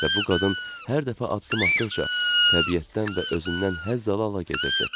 Və bu qadın hər dəfə addım atdıqca təbiətdən və özündən həzz ala-ala gedirdi.